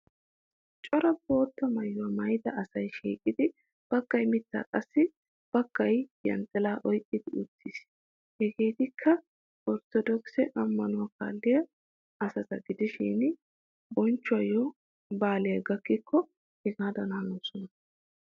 Cora bootta maayuwa maayida asay shiiqidi baggay mittaa qassi baggay yanxxilaa oyqqidi uttis. Hageetikka orttodookise ammanuwa kalliyaa asata gidishin bonchchiyo baalay gakkikko hagaadan hanoosona.